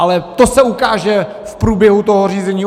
Ale to se ukáže v průběhu toho řízení.